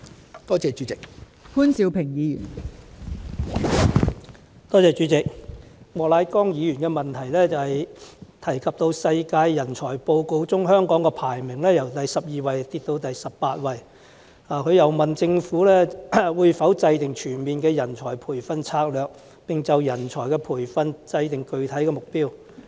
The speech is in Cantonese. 莫乃光議員的質詢提及香港在《2018年世界人才報告》的排名，由第十二位下跌至第十八位，他又問政府會否制訂全面的人才培訓策略，並就人才培訓訂定具體目標。